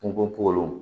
Kungo porow